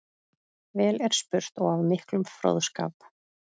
Vel er spurt og af miklum fróðskap.